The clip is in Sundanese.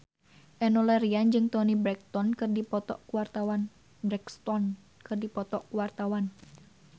Enno Lerian jeung Toni Brexton keur dipoto ku wartawan